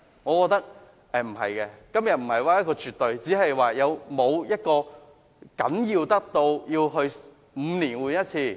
我覺得並非絕不可行，問題是司機證是否重要得需要每5年更換一次？